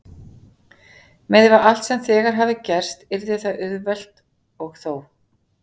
Miðað við allt sem þegar hafði gerst yrði það auðvelt- og þó.